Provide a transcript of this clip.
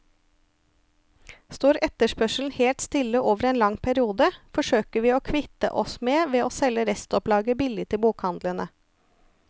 Står etterspørselen helt stille over en lang periode, forsøker vi å kvitte oss med ved å selge restopplaget billig til bokhandlene.